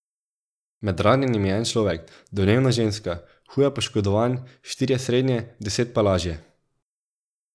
Med ranjenimi je en človek, domnevno ženska, huje poškodovan, štirje srednje, deset pa lažje.